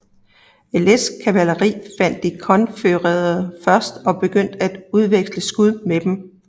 Ellets kavaleri fandt de konfødererede først og begyndte at udveksle skud med dem